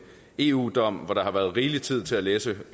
eu dom hvor der har været rigelig tid til at læse